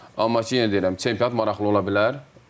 Amma ki, yenə deyirəm, çempionat maraqlı ola bilər.